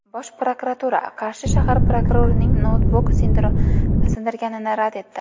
Bosh prokuratura Qarshi shahar prokurorining noutbuk sindirganini rad etdi.